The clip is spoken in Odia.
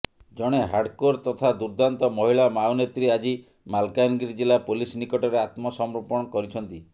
ଜଣେ ହାର୍ଡକୋର ତଥା ଦୁର୍ଦ୍ଦାନ୍ତ ମହିଳା ମାଓନେତ୍ରୀ ଆଜି ମାଲକାନଗିରି ଜିଲ୍ଲା ପୋଲିସ ନିକଟରେ ଆତ୍ମସମର୍ପଣ କରିଛନ୍ତି